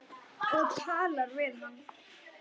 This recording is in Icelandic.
Og talar við hann.